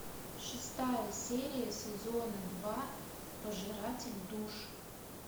шестая серия сезона два пожиратель душ